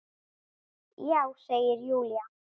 Já, segir Júlía.